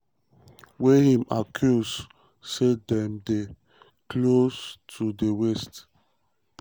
wey im accuse say dem dey close close to di west.